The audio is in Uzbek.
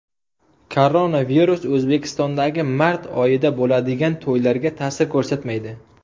Koronavirus O‘zbekistondagi mart oyida bo‘ladigan to‘ylarga ta’sir ko‘rsatmaydi.